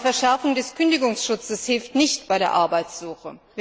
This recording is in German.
Auch eine Verschärfung des Kündigungsschutzes hilft nicht bei der Arbeitsuche.